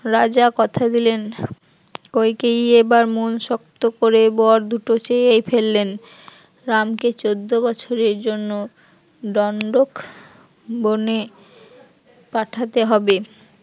রাজা কথা দিলেন, কইকেয়ীই এবার মন শক্ত করে বর দুটো চেয়েই ফেললেন, রামকে চৌদ্দ বছরের জন্য দণ্ডক বনে পাঠাতে হবে